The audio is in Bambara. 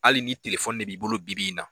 Hali ni telefɔni de b'i bolo bi-bi in na